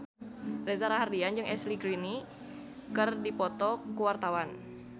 Reza Rahardian jeung Ashley Greene keur dipoto ku wartawan